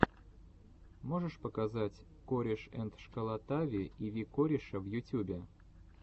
можешь показать корешэндшколотави и ви кореша в ютюбе